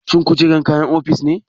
Shin kujera kayan ofis ne?